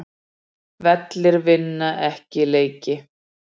Vellir vinna ekki leiki